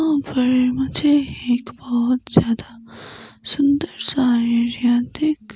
और मुझे एक बहुत ज्यादा सुंदर सा एरिया देख।